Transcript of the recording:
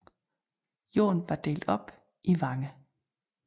Jorden var delt op i vange